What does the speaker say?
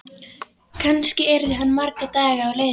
Kannski yrði hann marga daga á leiðinni.